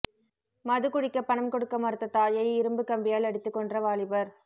மதுகுடிக்கப் பணம் கொடுக்க மறுத்த தாயை இரும்புப் கம்பியால் அடித்துக் கொன்ற வாலிபர்